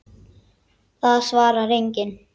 Það svarar enginn